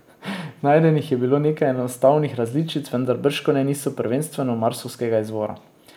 Najdenih je bilo nekaj enostavnih različic, vendar bržkone niso prvenstveno marsovskega izvora.